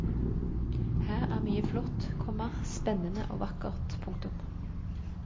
Her er mye flott, komma spennende og vakkert. punktum